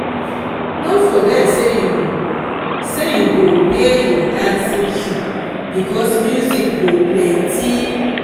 no forget sey you sey you go wear your dancing shoe bicos music go plenty.